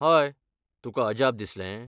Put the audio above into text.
हय, तुकां अजाप दिसलें ?